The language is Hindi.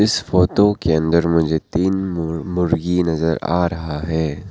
इस फोटो के अंदर मुझे तीन मु मुर्गी नजर आ रहा है।